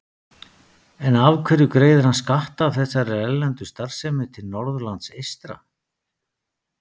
En af hverju greiðir hann skatta af þessari erlendu starfsemi til Norðurlands eystra?